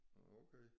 Okay